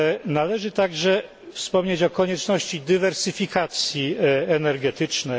Należy także wspomnieć o konieczności dywersyfikacji energetycznej.